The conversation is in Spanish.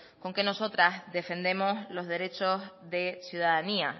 con que nosotras defendemos los derechos de ciudadanía